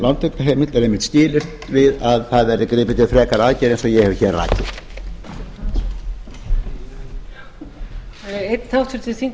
lántökuheimild er einmitt skilyrt við að það verði gripið til frekari aðgerða eins og ég hef hér rakið